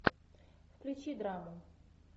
включи драму